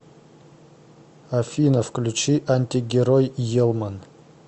афина включи антигерой елман